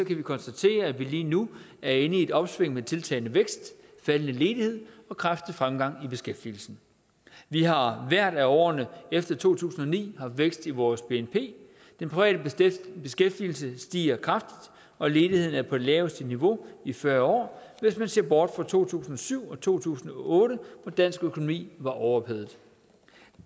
vi konstatere at vi lige nu er inde i et opsving med tiltagende vækst faldende ledighed og kraftig fremgang i beskæftigelsen vi har i hvert af årene efter to tusind og ni haft vækst i vores bnp den private beskæftigelse stiger kraftigt og ledigheden er på det laveste niveau i fyrre år hvis man ser bort fra to tusind og syv og to tusind og otte hvor dansk økonomi var overophedet